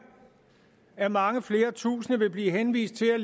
at mange flere tusinde vil blive henvist til at